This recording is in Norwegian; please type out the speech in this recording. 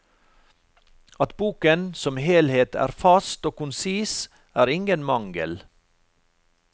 At boken som helhet er fast og konsis, er ingen mangel.